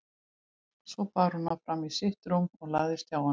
Svo bar hún hann fram í sitt rúm og lagðist hjá honum.